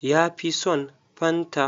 Ya fi son fanta.